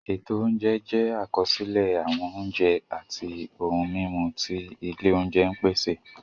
Ètò oúnjẹ jẹ́ àkọsílẹ̀ àwọn oúnjẹ àti ohun-mímu tí ilé oúnjẹ ń pèsè.